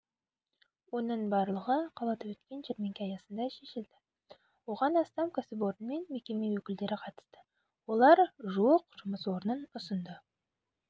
оның барлығы қалада өткен жәрмеңке аясында шешілді оған астам кәсіпорын мен мекеме өкілдері қатысты олар жуық жұмыс орнын ұсынды